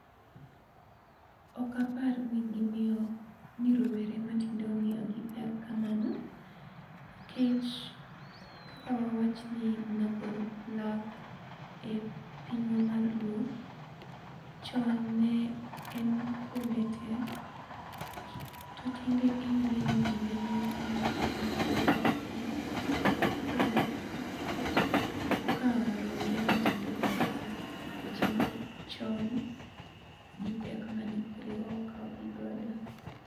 Ok apar ni gimiyo ni rowere matindo omiyogi pek kamano nikech kaka wawach ni nago lak e pinywa mar luo, chon ne en kuonde tee to tinde iyude ni dinde moko ema pod nago lakgi. Koro ok apar ni rowere ma tinde okawo weche machon gi pek mane kwerewa okawo gigodo.